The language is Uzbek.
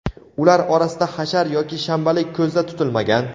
ular orasida hashar yoki shanbalik ko‘zda tutilmagan.